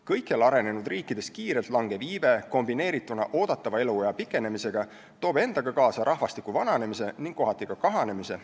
Kõikjal arenenud riikides kiirelt langev iive kombineerituna oodatava eluea pikenemisega toob endaga kaasa rahvastiku vananemise ning kohati ka kahanemise.